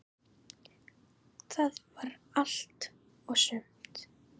Það var allt og sumt!